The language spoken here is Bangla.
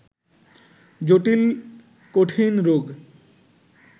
জটিল-কঠিন রোগ